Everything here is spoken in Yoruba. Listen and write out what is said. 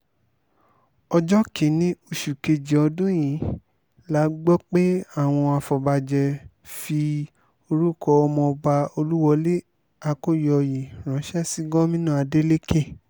ọjọ́ kín-ín-ní oṣù kejì ọdún yìí la gbọ́ pé àwọn afọbajẹ́ fi orúkọ ọmọọba olúwọ́lé akọ́yọ̀ọ́yé ránṣẹ́ sí gómìnà adélèké